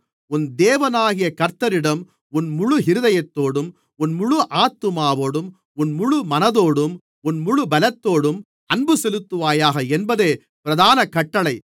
உன் தேவனாகிய கர்த்தரிடம் உன் முழு இருதயத்தோடும் உன் முழு ஆத்துமாவோடும் உன் முழு மனதோடும் உன் முழு பலத்தோடும் அன்புசெலுத்துவாயாக என்பதே பிரதான கட்டளை